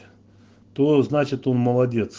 что значит он молодец